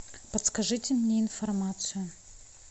подскажите мне информацию